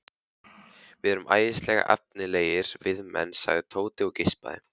Við erum æðislega efnilegir veiðimenn sagði Tóti og geispaði.